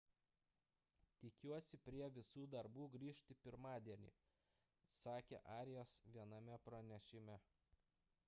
tikiuosi prie visų darbų grįžti pirmadienį – sakė arias viename pranešime